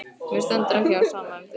Mér stendur ekki á sama um þig.